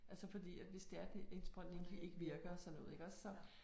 Altså fordi at hvis det er det en indsprøjtning ikke virker og sådan noget iggås så